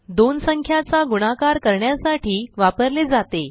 दोन संख्याचा गुणाकार करण्यासाठी वापरले जाते